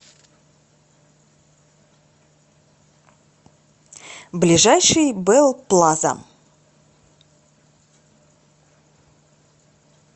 ближайший бэл плаза